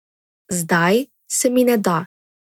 Zdaj se mi ne da.